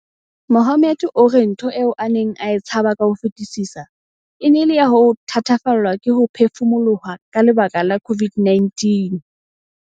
Mohammed o re ntho eo a neng a e tshaba ka ho fetisisa e ne e le ya ho thatafallwa ke ho phefumoloha ka lebaka la COVID-19.